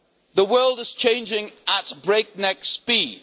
The world is changing at breakneck speed.